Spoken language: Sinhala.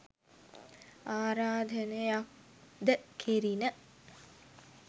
ආරාධනයක් ද කෙරිණ.